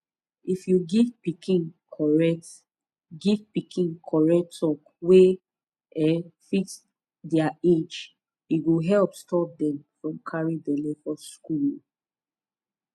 if you give pikin correct give pikin correct talk wey um fit their age e go help stop dem from carry belle for school um